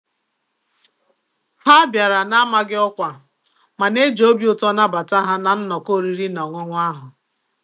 Ha bịara n'amaghị ọkwa mana e ji obi ụtọ nabata ha na nnọkọ oriri na ọṅụṅụ ahụ.